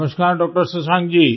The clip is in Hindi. नमस्कार डॉ० शशांक जी